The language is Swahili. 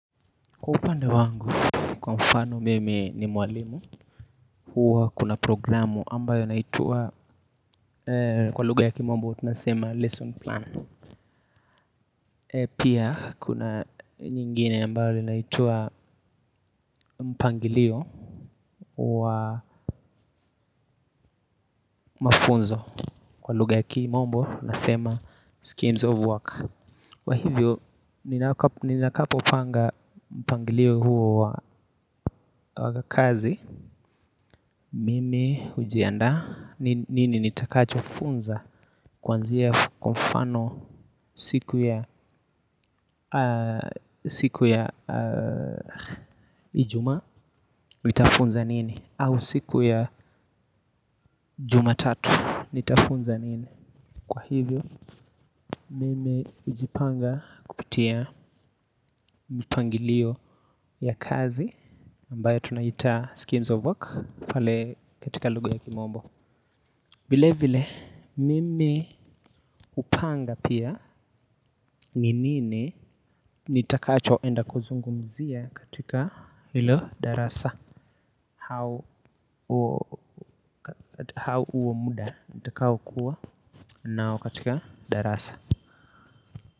Kwa upande wangu, kwa mfano mimi ni mwalimu. Huwa kuna programu ambayo inaitwa kwa lugha ya kimombo, tunasema lesson plan. Pia, kuna nyingine ambayo linaitwa mpangilio wa mafunzo. Kwa lugha ya kimombo, tunasema schemes of work kwa hivyo, ninapopanga mpangilio huo wa kazi mimi hujiandaa. Nini nitakacho funza kuanzia kwa mfano siku ya ijumaa. Nitafunza nini au siku ya jumatatu nitafunza nini. Kwa hivyo mimi hujipanga kupitia mipangilio ya kazi ambayo tunaita schemes of work pale katika lugha ya kimombo vile vile mimi hupanga pia ni nini nitakachoenda kuzungumzia katika hilo darasa au huo muda nitakaokuwa nao katika darasa.